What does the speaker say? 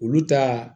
Olu ta